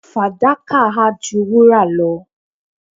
fadaka ha ju wura lo